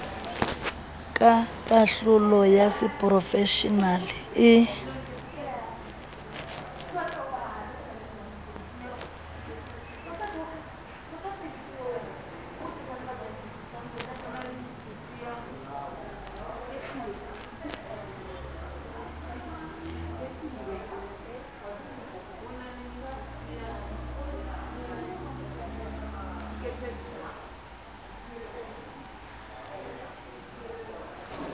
ka kahlolo ya seporofeshenale e